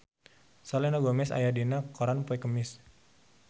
Selena Gomez aya dina koran poe Kemis